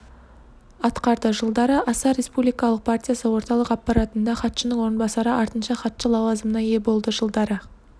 атқарды жылдары асар республикалық партиясы орталық аппаратында хатшының орынбасары артынша хатшы лауазымына ие болды жылдары